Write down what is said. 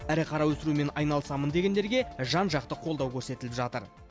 ірі қара өсірумен айналысамын дегендерге жан жақты қолдау көрсетіліп жатыр